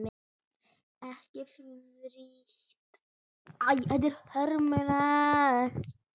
Ekki frítt við það!